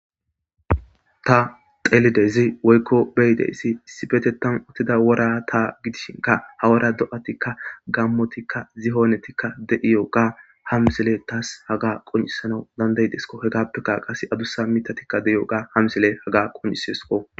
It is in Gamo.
Ta xelidezi woykko beyideyssi sifetetan uttida wora ta gidishinka hawora do7atikka gammotikka zihoonetikka de'iyo ga hamsile taas haga quncisana dandaydesko he gappekka qase adusa mitatikka deiyo ga hamsile haga quncisesko.